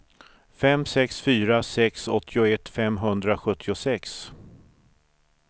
fem sex fyra sex åttioett femhundrasjuttiosex